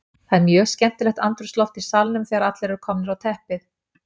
Það er mjög skemmtilegt andrúmsloft í salnum þegar allir eru komnir á teppið.